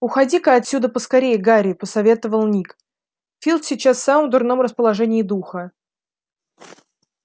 уходи-ка отсюда поскорее гарри посоветовал ник филч сейчас в самом дурном расположении духа